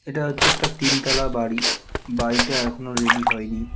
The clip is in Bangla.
এটা হচ্ছে একটা তিনতালা বাড়ি বাড়িটা এখনো রেডি হয়নি .